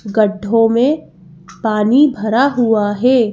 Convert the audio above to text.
गड्ढों में पानी भरा हुआ है।